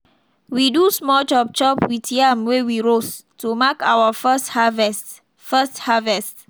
we do small chop chop with yam wey we roast to mark our first harvest. first harvest.